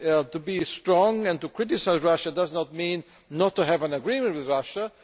To be strong and to criticise Russia does not mean not to have an agreement with Russia.